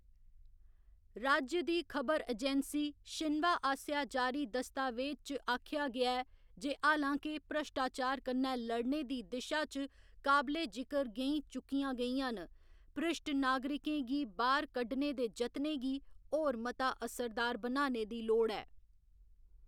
राज्य दी खबर एजैंसी शिन्वा आसेआ जारी दस्तावेज च आखेआ गेआ ऐ जे हालां के भ्रश्टाचार कन्नै लड़ने दी दिशा च काबले जिकर गैंईं चुक्कियां गेइयां न, भ्रिश्ट नागरिकें गी बाह्‌‌र कड्ढने दे जतनें गी होर मता असरदार बनाने दी लोड़ ऐ।